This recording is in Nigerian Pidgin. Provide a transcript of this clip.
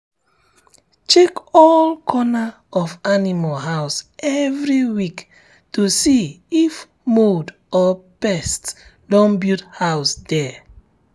check all corner of animal house every week to see if mould or pest don build house there. there.